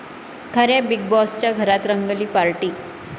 खऱ्या बिग बाॅसच्या घरात रंगली पार्टी!